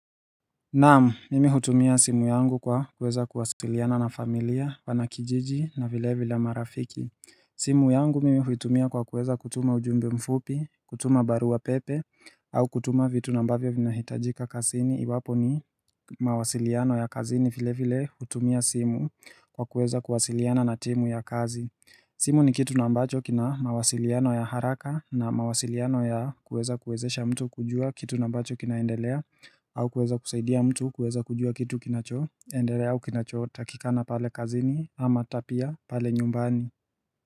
Naam, mimi hutumia simu yangu kwa kuweza kuwasiliana na familia wana kijiji na vile vile marafiki simu yangu mimi huitumia kwa kuweza kutuma ujumbe mfupi, kutuma barua pepe au kutuma vitu na ambavyo vinahitajika kazini iwapo ni mawasiliano ya kazini vile vile hutumia simu kwa kuweza kuwasiliana na timu ya kazi simu ni kitu na ambacho kina mawasiliano ya haraka na mawasiliano ya kueza kuwezesha mtu kujua kitu na ambacho kinaendelea au kueza kusaidia mtu kueza kujua kitu kinacho endelea au kinacho takikana pale kazini ama ata pia pale nyumbani.